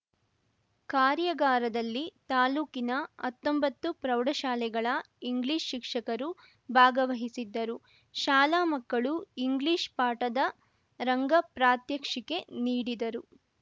ಕಾರ್ಯಾಗಾರದಲ್ಲಿ ತಾಲೂಕಿನ ಅತ್ತೊಂಬತ್ತು ಪ್ರೌಢಶಾಲೆಗಳ ಇಂಗ್ಲಿಷ್‌ ಶಿಕ್ಷಕರು ಭಾಗವಹಿಸಿದ್ದರು ಶಾಲಾ ಮಕ್ಕಳು ಇಂಗ್ಲಿಷ್‌ ಪಾಠದ ರಂಗ ಪ್ರಾತ್ಯಕ್ಷಿಕೆ ನೀಡಿದರು